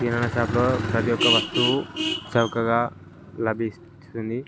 కిరాణా shop లో ప్రతి ఒక వస్తువు చవకగా లభి స్తుంది.